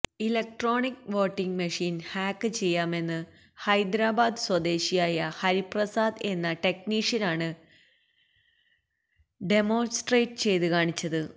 electronic voting machine hack ചെയ്യാമെന്ന് ഹൈദരാബാദ് സ്വദേശിയായ ഹരിപ്രസാദ് എന്ന ടെക്നീഷ്യനാണ് ഡെമോണ്സ്ട്രേറ്റ് ചെയ്ത് കാണിച്ചത്